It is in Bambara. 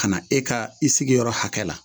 Ka na e ka i sigiyɔrɔ hakɛ la